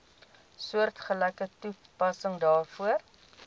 soortgelyke toepassing daarvoor